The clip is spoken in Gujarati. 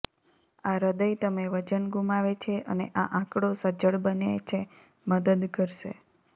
આ હૃદય તમે વજન ગુમાવે છે અને આ આંકડો સજ્જડ બને છે મદદ કરશે